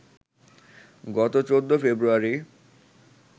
গত ১৪ ফেব্রুয়ারি